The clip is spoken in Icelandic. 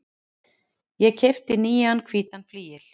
Ég keypti nýjan hvítan flygil.